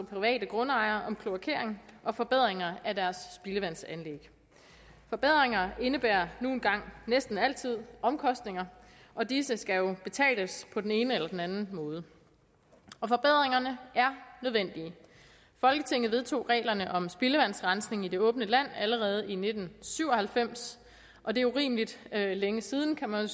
private grundejere om kloakering og forbedringer af deres spildevandsanlæg forbedringer indebærer nu engang næsten altid omkostninger og disse skal jo betales på den ene eller den anden måde forbedringerne er nødvendige folketinget vedtog reglerne om spildevandsrensning i det åbne land allerede i nitten syv og halvfems og det er urimeligt længe siden kan man